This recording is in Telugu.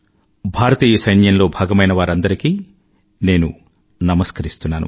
భారతీయ సైన్యంలో భాగమైన వారందరికీ నేను నమస్కరిస్తున్నాను